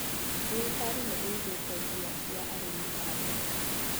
Thirikari nĩĩgĩte mbia cia arĩmi kando.